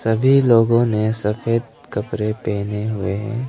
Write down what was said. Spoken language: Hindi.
सभी लोगों ने सफेद कपड़े पहने हुए हैं।